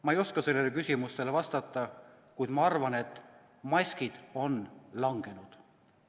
Ma ei oska sellele küsimusele vastata, kuid ma arvan, et maskid on langenud.